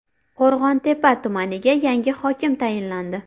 Qo‘rg‘ontepa tumaniga yangi hokim tayinlandi.